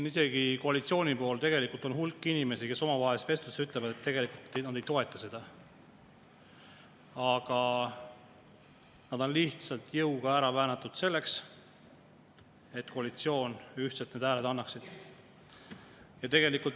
Isegi koalitsiooni pool on hulk inimesi, kes omavahelises vestluses ütlevad, et tegelikult nad ei toeta seda, aga nad on lihtsalt jõuga ära väänatud, selleks et koalitsioon ühtselt need hääled annaks.